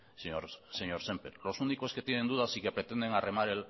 señor sémper los únicos que tienen dudas y que pretenden arrimar